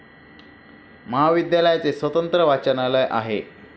महाविद्यालयाचे स्वतंत्र वाचनालय आहे.